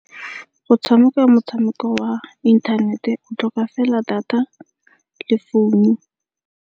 Go tshameka motshameko wa inthanete o tlhoka fela data le founu.